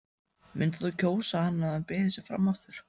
Myndir þú kjósa hann ef hann byði sig fram aftur?